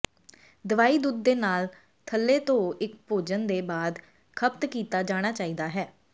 ਦਵਾਈ ਦੁੱਧ ਦੇ ਨਾਲ ਥੱਲੇ ਧੋ ਇੱਕ ਭੋਜਨ ਦੇ ਬਾਅਦ ਖਪਤ ਕੀਤਾ ਜਾਣਾ ਚਾਹੀਦਾ ਹੈ